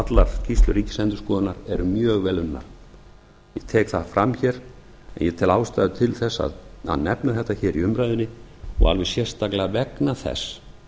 allar skýrslur ríkisendurskoðunar eru mjög vel unnar ég tek það fram hér en ég tel ástæðu til þess að nefna þetta hér í umræðunni og alveg sérstaklega vegna þess